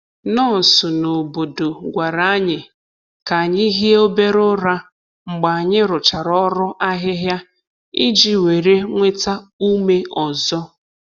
Nọọsụ n’obodo gwara anyị ka anyị hie obere ụra mgbe anyị rụchara ọrụ ahịhịa iji were nweta ume ọzọ.